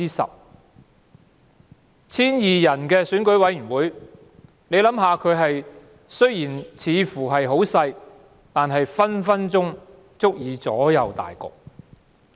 雖然在 1,200 人的選委會的規模似乎很小，但隨時足以左右大局。